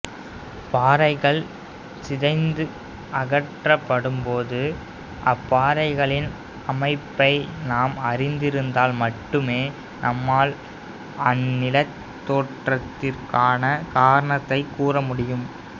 பாறைகள் சிதைந்து அகற்றப்படும் போது அப்பாறைகளின் அமைப்பை நாம் அறிந்திருந்தால் மட்டுமே நம்மால் அந்நிலத்தோற்றத்திற்கான காரணத்தைக் கூறமுடியும்